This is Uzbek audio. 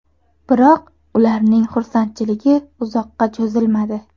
Biroq, ularning xursandchiligi uzoqqa cho‘zilmadi.